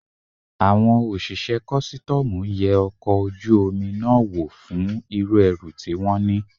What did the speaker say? Àwọn òṣìṣẹ́ kọ́sítọ́mù yẹ ọkọ̀ ojú omi náà wò fún irú ẹrù tí wón ní.